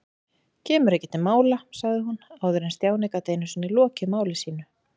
Kemur ekki til mála sagði hún áður en Stjáni gat einu sinni lokið máli sínu.